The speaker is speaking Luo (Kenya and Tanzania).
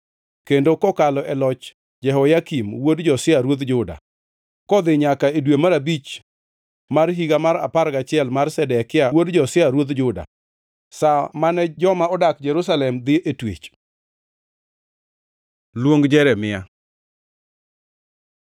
kendo kokalo e loch Jehoyakim wuod Josia ruodh Juda, kodhi nyaka e dwe mar abich mar higa mar apar gachiel mar Zedekia wuod Josia ruodh Juda, sa mane joma odak Jerusalem dhi e twech. Luong Jeremia